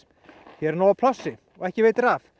hér er nóg af plássi og ekki veitir af